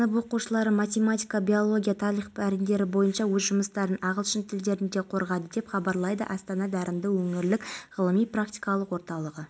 фестивалін біз жыл сайын өткізуді жоспарладық бүгін шараны астана төріндегі бәйтеректің жанында ұйымдастырдық фестивальдің ауқымы кеңеюде